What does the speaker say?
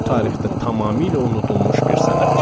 O tarixdə tamamilə unudulmuş bir sənətçi idi.